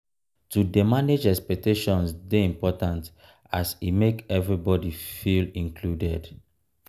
to dey manage expectations dey important as e make everybody feel included.